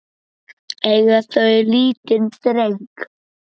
Eiga þau lítinn dreng.